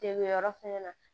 Dege yɔrɔ fɛnɛ na